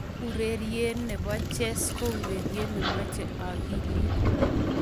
Ureriene bo Chess ko urerie ne mochei akiliit.